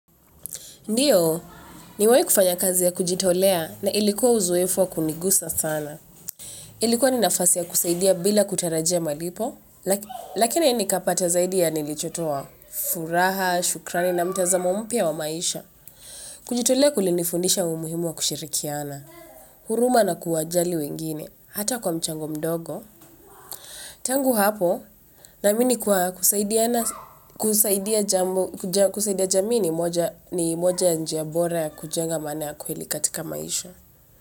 Ndiyo, nimewai kufanya kazi ya kujitolea na ilikuwa uzowefu wa kunigusa sana. Ilikuwa ni nafasi ya kusaidia bila kutarajia malipo, lakina nikapata zaidi ya nilichotoa furaha, shukrani na mtazamo mpya wa maisha. Kujitolea kulinifundisha umuhimu wa kushirikiana, huruma na kuwajali wengine, hata kwa mchango mdogo. Tangu hapo naamini kuwa kusaidia jamii ni moja ya njia bora ya kujenga maana ya kweli katika maisha.